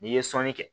N'i ye sɔnni kɛ